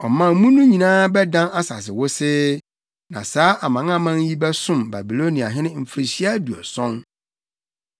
Ɔman mu no nyinaa bɛdan asase wosee, na saa amanaman yi bɛsom Babiloniahene mfirihyia aduɔson.